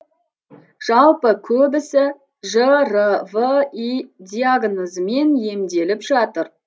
жалпы көбісі жрви диагнозымен емделіп жатыр